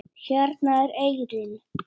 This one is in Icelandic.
Hérna er eyrin.